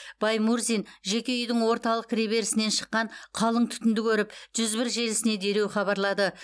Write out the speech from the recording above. баймурзин жеке үйдің орталық кіреберісінен шыққан қалың түтінді көріп жүз бір желісіне дереу хабарлады